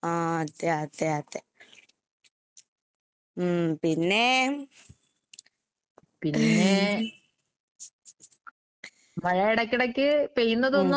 ആഹ് അതെയതെയതെ. ഉം പിന്നെ ഉം.